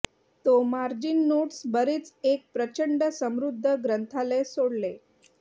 तो margin notes बरेच एक प्रचंड समृद्ध ग्रंथालय सोडले